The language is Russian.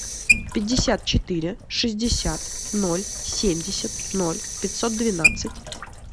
пятьдесят четыре шестьдесят ноль семьдесят ноль пятьсот двенадцать